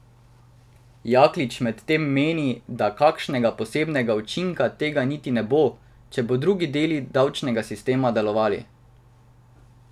Jaklič medtem meni, da kakšnega posebnega učinka tega niti ne bo, če bodo drugi deli davčnega sistema delovali.